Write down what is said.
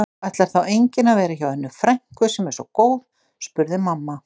Ætlar þá enginn að vera hjá Önnu frænku sem er svo góð? spurði mamma.